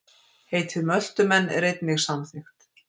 Heitið Möltumenn er einnig samþykkt.